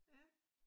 Ja